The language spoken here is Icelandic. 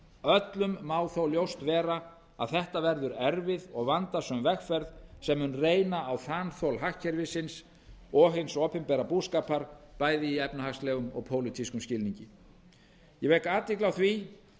öllum má þó ljóst vera að þetta verður erfið og vandasöm vegferð sem mun reyna á þanþol hagkerfisins og hins opinbera búskapar bæði í efnahagslegum og pólitískum skilningi ég vek athygli á því